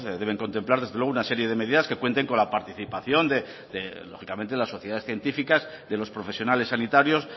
deben contemplar desde luego una serie de medidas que cuenten con la participación de lógicamente las sociedades científicas de los profesionales sanitarios